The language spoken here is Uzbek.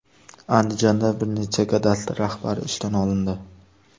Andijonda bir necha kadastr rahbari ishdan olindi.